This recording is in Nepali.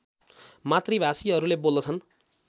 मातृभाषीहरूले बोल्दछन्